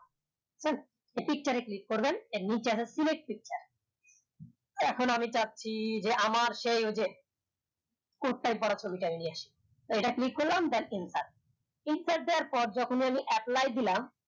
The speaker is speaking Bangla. pictures এ click করবেন এর নিছে আছে select picture এক্ষন আমি চাচ্ছি আমার সেই ওই যে coat tie পরা ছবি নিয়ে আসি এটা click করলাম enter দেওয়ার পর যখন আমি apply দিলাম